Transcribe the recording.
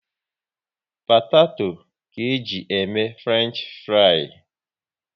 Potato ka eji e mee Frenchifrii